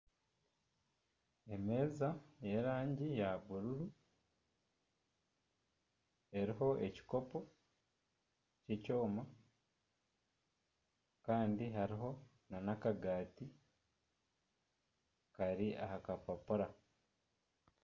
Emeeza eya bururu, eriho ekikopo ky'ekyoma. Kandi hariho n'akagaati kari aha kapapura.